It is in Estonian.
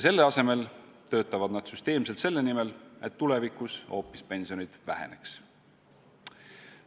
Selle asemel töötavad nad süsteemselt selle nimel, et tulevikus pensionid hoopis väheneksid.